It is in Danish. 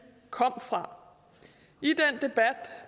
kom fra